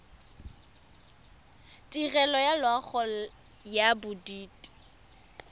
tirelo ya loago ya bodit